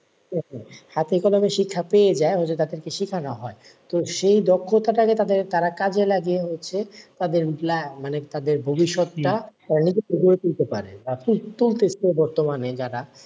হাতে কলমে শিক্ষা পেয়ে যায় ওদের তাদেরকে শেখানো হয় তো সেই দক্ষতাটা যেটা যায় তারা কাজে লাগে হচ্ছে মানে তাদের মানে ভবিষ্যৎটা বর্তমানে যারা,